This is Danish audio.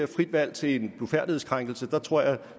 frit valg til en blufærdighedskrænkelse tror jeg